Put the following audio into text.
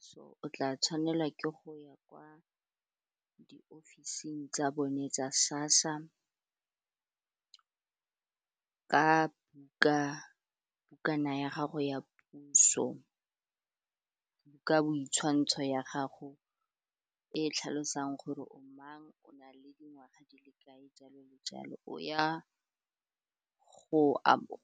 So, o tla tshwanela ke go ya kwa di ofising tsa bone tsa SASSA ka bukana ya gago ya puso ka bo ditshwantsho ya gago e tlhalosang gore o mang, o na le dingwaga di le kae, jalo le jalo. Go ya